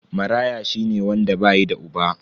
Maraya shine wanda bayi da uba.